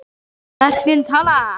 Verkin tala.